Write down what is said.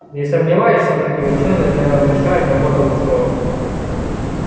не сомневаюсь что такие учёные завершат работу в срок